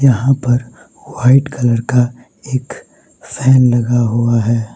यहां पर white colour का एक फैन लगा हुआ है।